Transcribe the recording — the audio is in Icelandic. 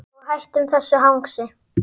Og hættum þessu hangsi.